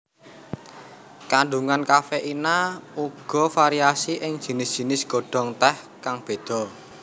Kandungan kafeina uga variasi ing jinis jinis godhong teh kang beda